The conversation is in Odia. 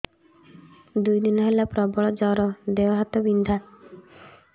ଦୁଇ ଦିନ ହେଲା ପ୍ରବଳ ଜର ଦେହ ହାତ ବିନ୍ଧା